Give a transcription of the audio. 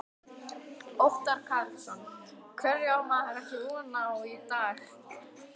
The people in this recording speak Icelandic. Óttar Karlsson: Hverju á maður ekki von á í dag?